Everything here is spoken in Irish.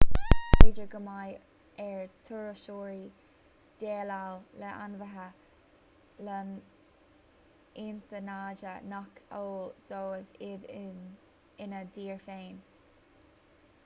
is féidir go mbeidh ar thurasóirí déileáil le ainmhithe lotnaide nach eol dóibh iad ina dtír féin